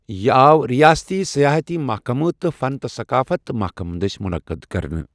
یہِ آو رِیاستی سیاحتی محكمہٕ تہٕ فن تہٕ سقافت محكمہٕ دٔسۍ منقد كرنہٕ ۔